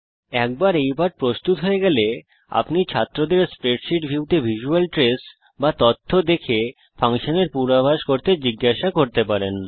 একবার এই পাঠ প্রস্তুত হয়ে গেলে আপনি ছাত্রদের স্প্রেডশীট ভিউতে ভিসুয়াল ট্রেস বা তথ্য দেখে ফাংশনের পূর্বাভাস করতে জিজ্ঞাসা করতে পারেন